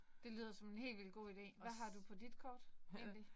Det lyder som en helt vildt god ide. Hvad har du på dit kort? Egentlig